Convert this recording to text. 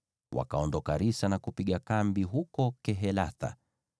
Wakaondoka Risa na kupiga kambi huko Kehelatha.